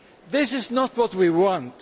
This is not what we want.